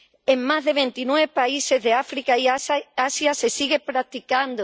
En más de veintinueve países de África y Asia se sigue practicando.